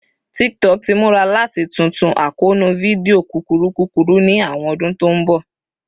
TikTok ti mura lati tuntu akoonu fidio kukuru kukuru ni awọn ọdun to n bọ